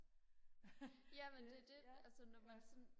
jamen det er det altså når man sådan